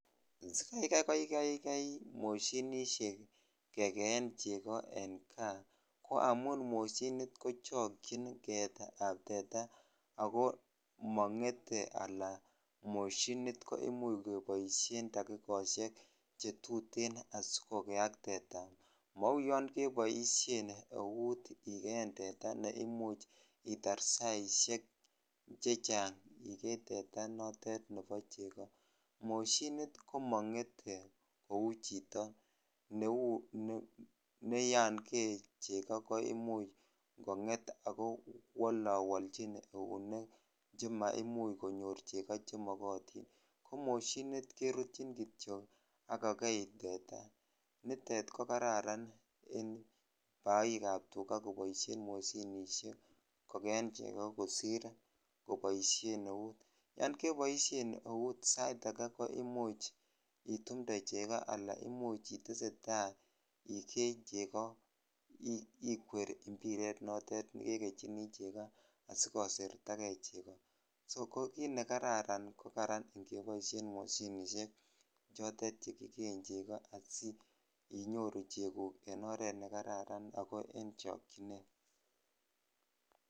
Sikokaikai moshinisiek kekeen chego en kaa ko amun moshinit kochokchin keetab teta ago mongete anan moshinit komuch keboisien takikosiek chetuten asikokeak teta. Mauyon keboisien eut ikeen teta ne imuch itar saisiek chechang igee teta notet igee chego. Moshinit komangete kou chito neyon kee chego koimuch kongetak kowolawalchin eunek chemaimuch konyor chego che walotin. Komoshinit kerutyin kityok ak kokei teta. Nitet ko kararan en boikab tuga koboisien moshinisiek kogeen chegu kosir koboisien eut. Yon keboisien eut sait age ko imuch itumnde chego anan imuch itestai igee chego ikwer impiret notet kekechini chego asigosertage chego. Soko kit nekararan ko ngeboisien mashinisiek chotet che kikeen chego asiinyoru cheguk en oret nekararan ago en chokchinet.